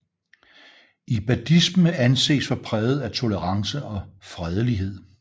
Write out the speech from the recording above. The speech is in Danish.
Ibadisme anses for præget af tolerance og fredelighed